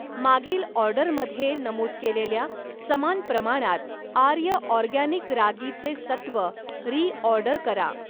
मागील ऑर्डरमध्ये नमूद केलेल्या समान प्रमाणात आर्य ऑरगॅनिक रागीचे सत्व रीऑर्डर करा.